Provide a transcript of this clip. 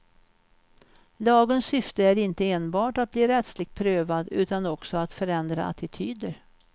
Lagens syfte är inte enbart att bli rättsligt prövad utan också att förändra attityder.